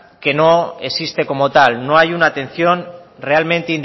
que no existe como tal no hay una atención realmente